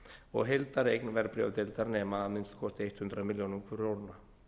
og heildareign verðbréfadeildar nema að minnsta kosti hundrað milljónir króna